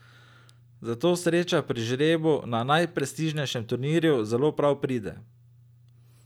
Zato sreča pri žrebu na najprestižnejšem turnirju zelo prav pride.